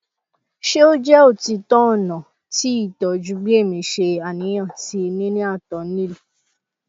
ṣe o jẹ otitọ ọna ti itọju bi emi ṣe aniyan ti nini ato nil